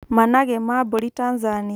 Managĩ ma mbũri Tanzania